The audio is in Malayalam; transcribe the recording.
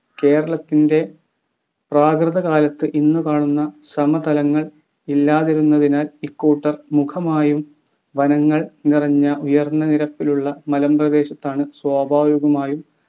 കേരളത്തിൻ്റെ പ്രാകൃത കാലത്ത് ഇന്നു കാണുന്ന സമതലങ്ങൾ ഇല്ലാതിരുന്നതിനാൽ ഇക്കൂട്ടർ മുഖമാണ് വനങ്ങൾ നിറഞ്ഞ ഉയർന്ന നിരപ്പിലുള്ള മലമ്പ്രദേശങ്ങളാണ് സ്വാഭാവികമായും